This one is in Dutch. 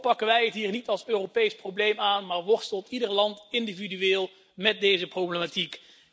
Toch pakken wij het hier niet als Europees probleem aan, maar worstelt ieder land individueel met deze problematiek.